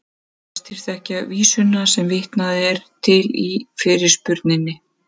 Flestir þekkja vísuna sem vitnað er til í fyrirspurninni.